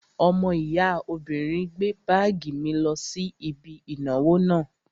Ọmọ ìyá obìnrin gbé báàgì mi lọ sí ibi ìnáwó náà